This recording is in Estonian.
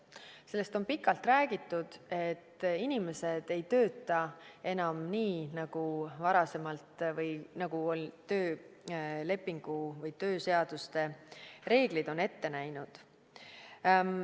Sellest on pikalt räägitud, et inimesed ei tööta enam nii nagu varasemalt või nagu töölepingu või tööseaduste reeglid on ette näinud.